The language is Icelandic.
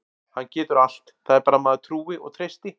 Hann getur allt, það er bara að maður trúi og treysti.